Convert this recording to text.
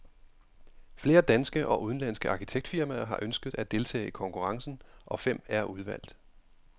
Flere danske og udenlandske arkitektfirmaer har ønsket at deltage i konkurrencen, og fem er udvalgt.